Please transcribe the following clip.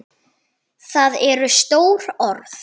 Það eru stór orð.